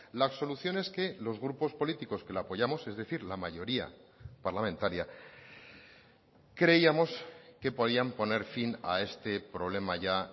las soluciones que los grupos políticos que la apoyamos es decir la mayoría parlamentaria creíamos que podían poner fin a este problema ya